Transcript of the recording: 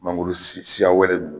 Mangoro siya wɛrɛ ninnu